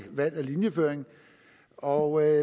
valg af linjeføring og